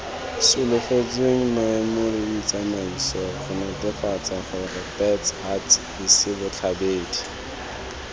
solofetsweng maemoleditsamaiso gonetefatsagorebats huts hisibotlheba